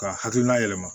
Ka hakilina yɛlɛma